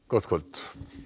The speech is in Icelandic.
gott kvöld